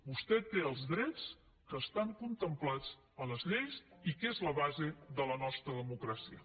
vostè té els drets que estan contemplats a les lleis i que són la base de la nostra democràcia